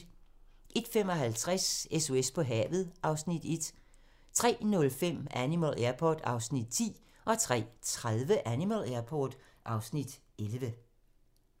01:55: SOS på havet (Afs. 1) 03:05: Animal Airport (Afs. 10) 03:30: Animal Airport (Afs. 11)